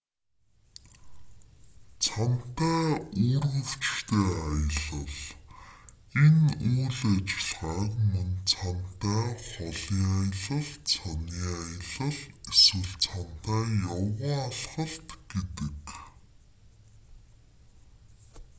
цанатай үүргэвчтэй аялал энэ үйл ажиллагааг мөн цанатай холын аялал цанын аялал эсвэл цанатай явган алхалт гэдэг